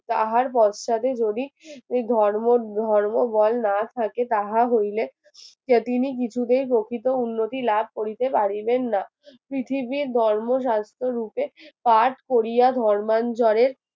কাহার পশ্চাৎদে যদি ধর্ম ধর্ম বল না থাকে তাহা হইলে সেদিনই কিছুতেই প্রকৃত উন্নতি লাভ করিতে পারিবেন না পৃথিবীর ধর্ম স্বাস্থ্য রূপে কাজ করিয়া ধর্মানজোরের